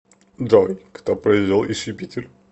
джой кто произвел иж юпитер